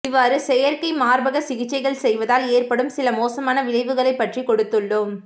இவ்வாறு செயற்கை மார்பக சிகிச்சைகள் செய்வதால் ஏற்படும் சில மோசமான விளைவுகளைப் பற்றி கொடுத்துள்ளோம்